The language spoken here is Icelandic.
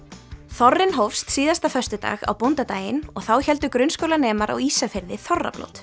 þorrinn hófst síðasta föstudag á bóndadaginn og þá héldu grunnskólanemar á Ísafirði þorrablót